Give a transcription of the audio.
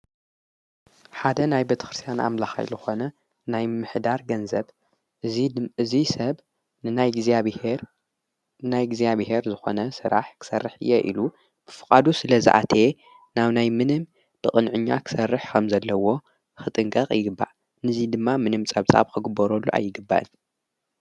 ሓደ ናይ በተክርስያን ኣምላኻይለኾነ ናይ ምሕዳር ገንዘብ እዙይ ሰብ ሔናይ እግዚኣብሔር ዝኾነ ሥራሕ ክሠርሕ እየ ኢሉ ብፍቓዱ ስለ ዝኣተየየ ናው ናይ ምንም ብቕንዕ ኛ ኽሠርሕ ከም ዘለዎ ኽጥንቀቕ ይግባእ ንዙይ ድማ ምንም ጸብጻብ ኽግበረሉ ኣይግባእን።